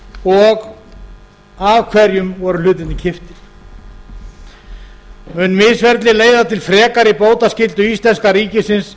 og af hverjum voru hlutirnir keyptir mun misferlið leiða til frekari bótaskyldu íslenska ríkisins